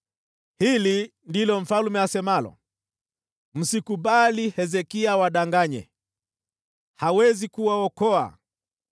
Hili ndilo asemalo mfalme: Msikubali Hezekia awadanganye. Hawezi kuwaokoa!